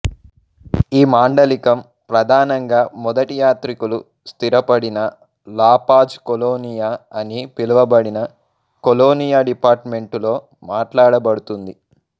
ఈ మాండలికం ప్రధానంగా మొదటి యాత్రికులు స్థిరపడిన లా పాజ్ కొలోనియా అని పిలివబడిన కొలోనియా డిపార్టుమెంటులో మాట్లాడబడుతుంది